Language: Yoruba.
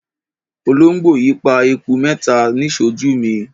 Olóńgbò yìí pa eku mẹ́ta níṣojú mi.